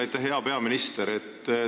Aitäh, hea peaminister!